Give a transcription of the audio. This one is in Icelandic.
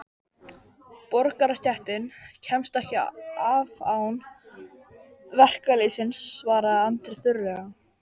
Borgarastéttin kemst ekki af án verkalýðsins, svaraði Andri þurrlega.